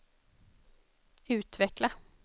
utveckla